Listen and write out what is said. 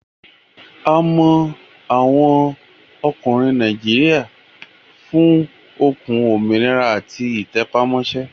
A mọ àwọn ọkùnrin Nàìjíríà fún okun, òmìnira àti ìtẹpámọ́ṣẹ́